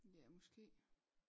Ja måske